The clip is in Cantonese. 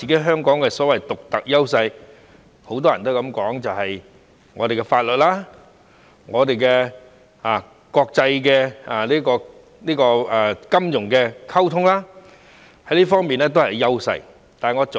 香港的所謂獨特優勢，很多人也說是我們的法律及國際金融方面的溝通。